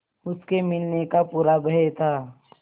उसके मिलने का पूरा भय था